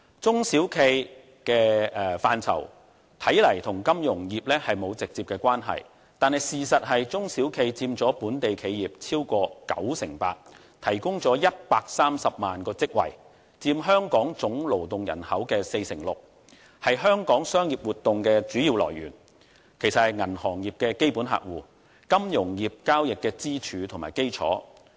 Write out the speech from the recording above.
中小企的範疇與金融業看似沒有直接關係，但事實是，中小企佔本地企業超過 98%， 提供了130萬個職位，佔香港總勞動人口 46%， 是香港商業活動的主要來源，也是銀行業的基本客戶，金融業交易的支柱和基礎。